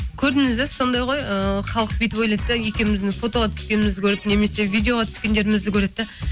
көрдіңіз бе сондай ғой ыыы халық бүйтіп ойлайды да екеуіміздің фотоға түскенімізді көріп немесе видеоға түскендерімізді көреді де